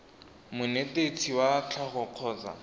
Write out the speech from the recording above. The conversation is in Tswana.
monetetshi wa tsa tlhago kgotsa